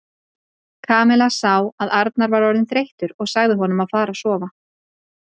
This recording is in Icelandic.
Kamilla sá að Arnar var orðinn þreyttur og sagði honum að fara að sofa.